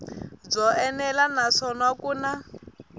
byo enela naswona ku na